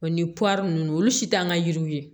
O ni ninnu olu si t'an ka yiriw ye